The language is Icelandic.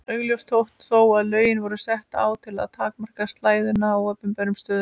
Augljóst þótti þó að lögin voru sett á til að takmarka slæðuna á opinberum stöðum.